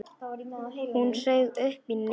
Hún saug upp í nefið.